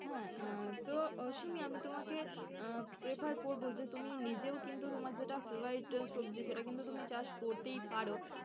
হম তো শিমি আমি তোমাকে আহ prefar করবো যে তুমি নিজেও কিন্তু তোমার যেটা favourite সবজি সেটা কিন্তু তুমি চাষ করতেই পারো।